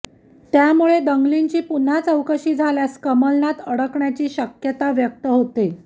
त्यामुळे दंगलींची पुन्हा चौकशी झाल्यास कमलनाथ अडकण्याची शक्यता व्यक्त होत